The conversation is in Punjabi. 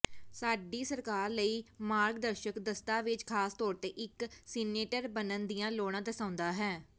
ਸਾਡੀ ਸਰਕਾਰ ਲਈ ਮਾਰਗਦਰਸ਼ਕ ਦਸਤਾਵੇਜ਼ ਖਾਸ ਤੌਰ ਤੇ ਇੱਕ ਸੀਨੇਟਰ ਬਣਨ ਦੀਆਂ ਲੋੜਾਂ ਦਰਸਾਉਂਦਾ ਹੈ